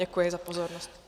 Děkuji za pozornost.